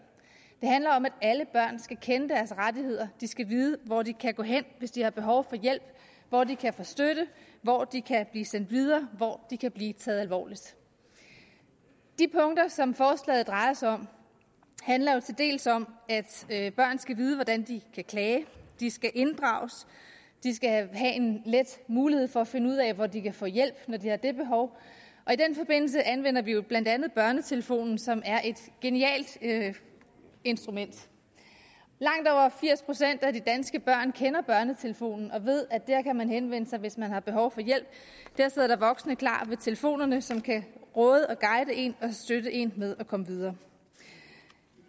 handler om at alle børn skal kende deres rettigheder de skal vide hvor de kan gå hen hvis de har behov for hjælp hvor de kan få støtte hvor de kan blive sendt videre hvor de kan blive taget alvorligt de punkter som forslaget drejer sig om handler jo til dels om at børn skal vide hvordan de kan klage de skal inddrages de skal have en let mulighed for at finde ud af hvor de kan få hjælp når de har det behov og i den forbindelse anvender vi jo blandt andet børnetelefonen som er et genialt instrument langt over firs procent af de danske børn kender børnetelefonen og ved at der kan man henvende sig hvis man har behov for hjælp der sidder der voksne klar ved telefonerne som kan råde og guide en og støtte en med at komme videre